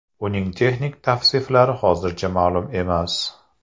Uning texnik tavsiflari hozircha ma’lum emas.